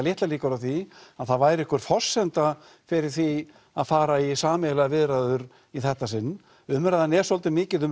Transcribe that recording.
litlar líkur á því að það væri einhver forsenda fyrir því að fara í sameiginlegar viðræður í þetta sinn umræðan er svolítið mikið um